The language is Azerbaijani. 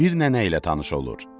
Bir nənə ilə tanış olur.